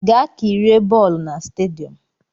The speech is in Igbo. Gaa kirie bọọlụ na stadiọm!